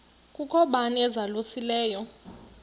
kukho bani uzalusileyo